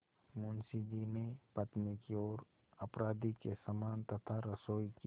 मुंशी जी ने पत्नी की ओर अपराधी के समान तथा रसोई की